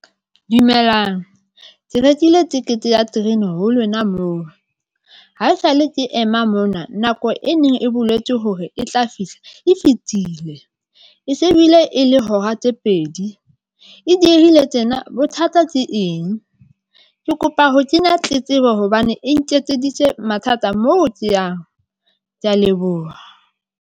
Dumelang ke rekile tekete ya terene ho lona moo haesale ke ema mona nako e neng e boletswe hore e tla fihla e fetile, e se ebile e e le hora tse pedi e diehile tjena bothata tse eng? Ke kopa ho kenya tletlebo hobane e nketseditse mathata moo ke yang. Ke ya leboha.